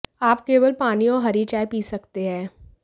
आप केवल पानी और हरी चाय पी सकते हैं